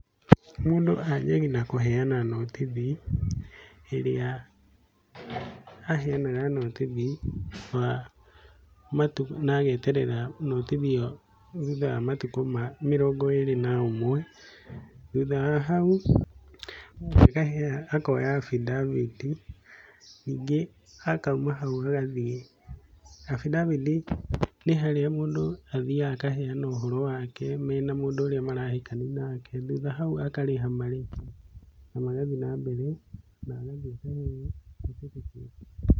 Mũndũ anjagia na kũheana nũtithi, ĩrĩa aheanaga nũtithi wa matũkũ na ageterera nũtithi ĩyo thutha wa matukũ mĩrongo ĩrĩ na ũmwe. Thutha wa hau akoya avidavit ningĩ akauma hau agathiĩ. Avidavit nĩ harĩa mũndũ athiaga akaheana ũhoro wake mena mũndũ ũrĩa marahikania nake. Thutha hau akarĩha marĩhi na magathiĩ na mbere na agathiĩ akaheo certificate.